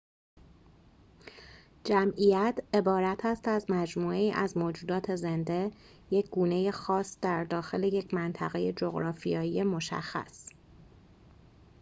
جمعیت عبارت است از مجموعه‌ای از موجودات زنده یک گونه خاص در داخل یک منطقه جغرافیایی مشخص